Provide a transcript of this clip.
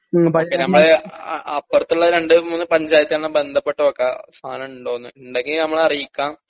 നമ്മളെ അഹ് അപ്പറ്ത്ത്ള്ള രണ്ട് മൂന്നു പഞ്ചായത്ത്‌ന്നുമായി ബന്ധപ്പെട്ട് നോക്കാ സാനണ്ടോന്ന് ഇണ്ടെങ്കി നമ്മളറീക്കാം